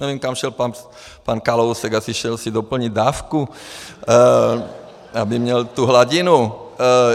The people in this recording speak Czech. Nevím, kam šel pan Kalousek, asi si šel doplnit dávku, aby měl tu hladinu.